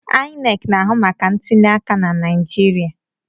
INEC na-ahụ maka ntuliaka na Naịjirịa.